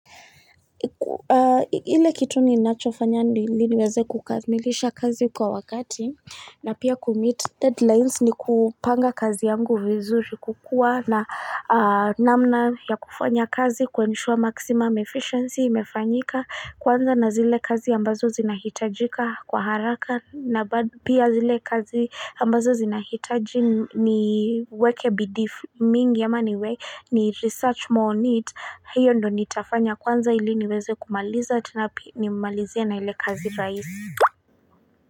Ile kitu ninachofanya ili niweze kukamilisha kazi kwa wakati na pia kumeet deadlines ni kupanga kazi yangu vizuri kukua na namna ya kufanya kazi kuensure maximum efficiency imefanyika kwanza na zile kazi ambazo zinahitajika kwa haraka na pia zile kazi ambazo zinahitaji ni weke bidii mingi ya niwe ni research more on it hiyo ndo nitafanya kwanza ili niweze kumaliza tena nimalizie na ile kazi raisi.